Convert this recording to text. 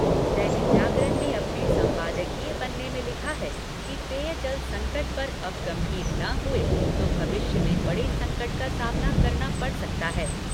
दैनिक जागरण ने अपने सम्पादकीय पन्ने में लिखा है कि पेयजल संकट पर अब गंभीर न हुए तो भविष्य में बड़े संकट का सामना करना पड़ा सकता है।